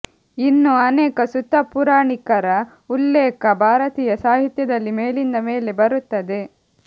ಇನ್ನೂ ಅನೇಕ ಸೂತ ಪುರಣಿಕರ ಉಲ್ಲೇಖ ಭಾರತೀಯ ಸಾಹಿತ್ಯದಲ್ಲಿ ಮೇಲಿಂದ ಮೇಲೆ ಬರುತ್ತದೆ